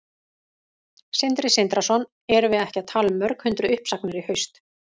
Sindri Sindrason: Erum við ekki að tala um mörg hundruð uppsagnir í haust?